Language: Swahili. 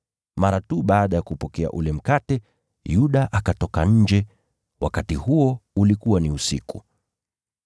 Mara tu baada ya kupokea ule mkate, Yuda akatoka nje. Wakati huo ulikuwa ni usiku.